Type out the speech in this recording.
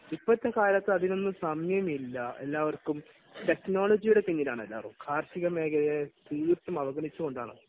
ഇപ്പോഴത്തെ കാലത്ത് അതിനൊന്നും സമയമില്ല. എല്ലവർക്കും ടെക്നോളജിയുടെ പാതയിലാണ് എല്ലാവരും. കാർഷികമേഖലയെ തീർത്തും അവഗണിച്ചുകൊണ്ടാണ്